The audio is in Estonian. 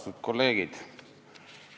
Austatud kolleegid!